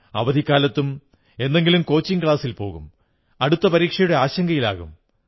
അവധിക്കാലത്തും എന്തെങ്കിലും കോച്ചിംഗ് ക്ലാസിൽ പോകും അടുത്ത പരീക്ഷയുടെ ആശങ്കയിലാകും